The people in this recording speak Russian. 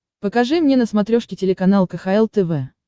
покажи мне на смотрешке телеканал кхл тв